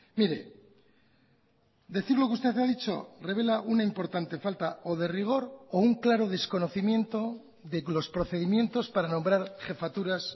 mire decir lo que usted ha dicho revela una importante falta o de rigor o un claro desconocimiento de los procedimientos para nombrar jefaturas